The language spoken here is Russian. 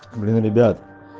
блин ребят